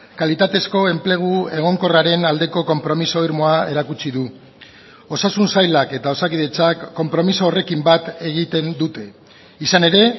kalitatezko enplegu egonkorraren aldeko konpromiso irmoa erakutsi du osasun sailak eta osakidetzak konpromiso horrekin bat egiten dute izan ere